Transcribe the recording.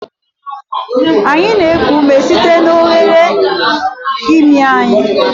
Anyị na-eku ume site n'oghere imi anyị.